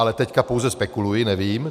Ale teď pouze spekuluji, nevím.